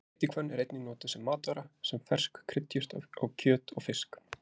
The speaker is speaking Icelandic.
Ætihvönn er einnig notuð sem matvara, sem fersk kryddjurt á kjöt og fisk.